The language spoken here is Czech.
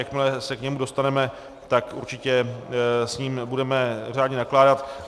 Jakmile se k němu dostaneme, tak určitě s ním budeme řádně nakládat.